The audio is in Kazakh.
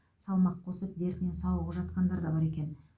салмақ қосып дертінен сауығып жатқандар да бар екен